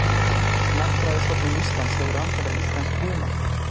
Náttúrufræðistofnun Íslands hefur rannsakað íslenskt hunang